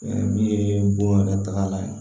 Min ye bon yɛrɛ tagalan ye